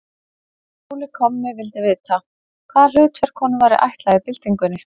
Óli kommi vildi vita, hvaða hlutverk honum væri ætlað í byltingunni.